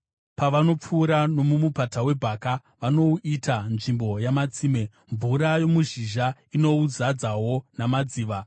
Pavanopfuura nomuMupata weBhaka, vanouita nzvimbo yamatsime; mvura yomuzhizha inouzadzawo namadziva.